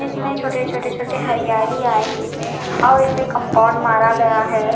इसमें छोटे छोटे छोटे हरियाली आई हुई हैं और इसे कंपाउंड मारा गया है।